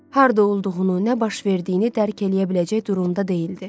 Harda olduğunu, nə baş verdiyini dərk eləyə biləcək durumda deyildi.